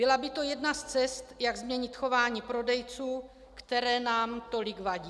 Byla by to jedna z cest, jak změnit chování prodejců, které nám tolik vadí.